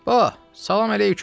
Ba, salam əleykum.